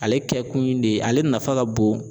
Ale kɛkun in de ale nafa ka bon